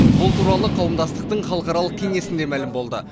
бұл туралы қауымдастықтың халықаралық кеңесінде мәлім болды